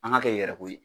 An ka kɛ yɛrɛko ye